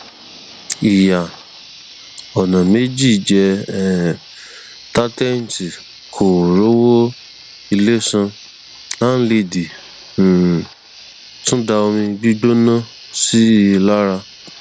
ìyá ọnà méjì jẹ um táńtẹǹtì kò rówó ilé san láńlédì um tún da omi gbígbóná sí i lára